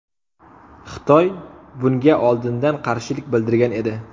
Xitoy bunga oldindan qarshilik bildirgan edi.